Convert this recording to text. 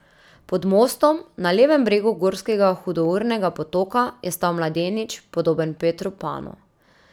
Pod mostom, na levem bregu gorskega hudournega potoka, je stal mladenič, podoben Petru Panu.